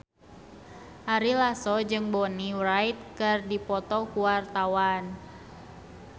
Ari Lasso jeung Bonnie Wright keur dipoto ku wartawan